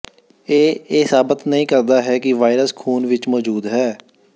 ਇਹ ਇਹ ਸਾਬਤ ਨਹੀਂ ਕਰਦਾ ਹੈ ਕਿ ਵਾਇਰਸ ਖ਼ੂਨ ਵਿੱਚ ਮੌਜੂਦ ਹੈ